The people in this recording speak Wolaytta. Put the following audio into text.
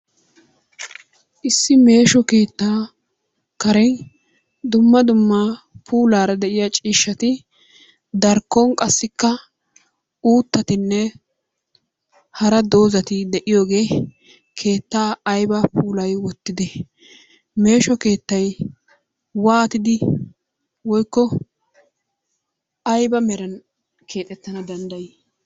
Issi meesho keettaa karen dumma dumma puulaara de"iyaa ciishshati darkkon qassikka uuttatinne hara doozzati de"iyoogee keettaa ayba puulayi wottidee? Meesho keettay waatidi woyikko ayba meran keexettana danddayi?